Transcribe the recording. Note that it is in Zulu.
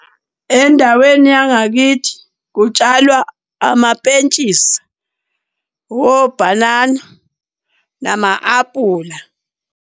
Endaweni yangakithi kutshalwa amapentshisi, obhanana, nama-apula.